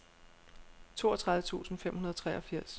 toogtredive tusind fem hundrede og treogfirs